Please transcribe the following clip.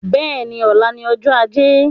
Bẹ́ẹ̀ni, ọ̀la ni ọjọ́ ajé